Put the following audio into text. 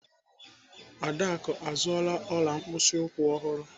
Adaku azụọla ọla mkpịsị ụkwụ ọhụrụ.